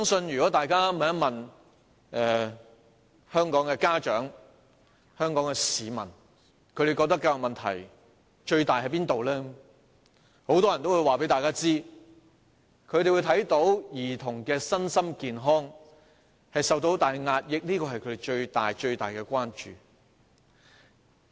如果大家問香港的家長和市民，他們覺得最大的教育問題為何？很多人都會說，他們看到兒童的身心健康受到很大壓抑，這是他們最大的關注。